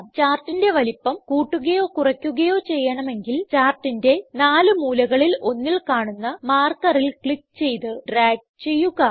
ചാർട്ടിന്റെ വലുപ്പം കൂട്ടുകയോ കുറയ്ക്കുകയോ ചെയ്യണമെങ്കിൽ ചാർട്ടിന്റെ നാലു മൂലകളിൽ ഒന്നിൽ കാണുന്ന മാർക്കറിൽ ക്ലിക്ക് ചെയ്ത് ഡ്രാഗ് ചെയ്യുക